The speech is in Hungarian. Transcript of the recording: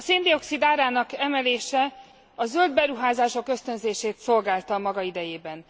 A szén dioxid árának emelése a zöld beruházások ösztönzését szolgálta a maga idejében.